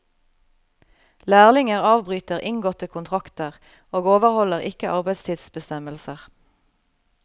Lærlinger avbryter inngåtte kontrakter og overholder ikke arbeidstidsbestemmelser.